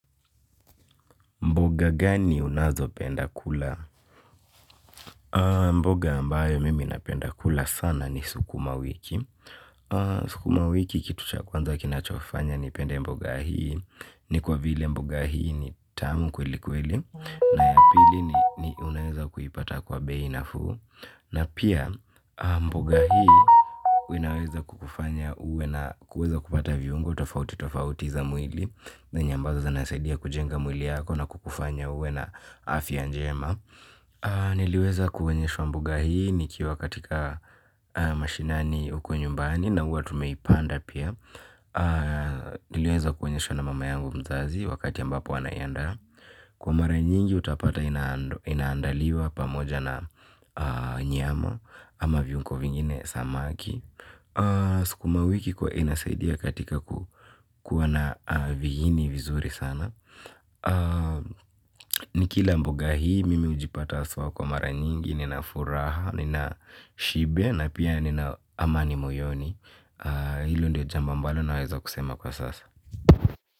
Mboga gani unazo penda kula? Mboga ambayo mimi napenda kula sana ni sukuma wiki. Sukuma wiki kitu cha kwanza kinachofanya ni penda mboga hii, ni kwa vile mboga hii ni tamu kweli kweli, na ya pili ni unaweza kuipata kwa beinafu, na pia mboga hii wenaweza kukufanya uwe na kuweza kupata viungo tofauti tofauti za mwili, na enye ambazo zinasaidia kujenga mwiliyako na kukufanya uwe na afia njema. Niliweza kuwonyeshwa mboga hii nikiwa katika mashinani uko nyumbani na uwa tumeipanda pia. Niliweza kuwonyeshwa na mama yangu mzazi wakati ambapo anayanda. Kwa mara nyingi utapata inaandaliwa pamoja na nyama ama viyungo vingine samaki. Sukuma wiki kwa inasaidia katika kuwa na vihini vizuri sana. Nikila mboga hii mimi ujipata aswa kwa mara nyingi. Nina furaha, nina shibe na pia nina amani moyoni. Hilo ndio jambo ambalo na weza kusema kwa sasa.